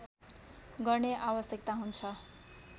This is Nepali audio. गर्ने आवश्यकता हुन्छ